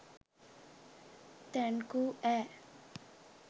Thank you ඈ.